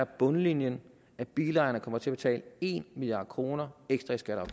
bundlinjen at bilejerne kommer til at betale en milliard kroner ekstra i skatter